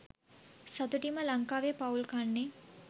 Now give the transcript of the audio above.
සතුටින්ම ලංකාවෙ පවුල් කන්නෙ